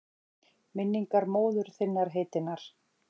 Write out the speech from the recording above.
Minningu móður þinnar heitinnar?